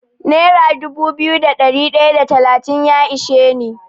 Nera dubu biyu da ɗari ɗaya da talatin ya ishe ni.